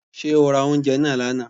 Ṣé o ra oúnjẹ náà lánàá.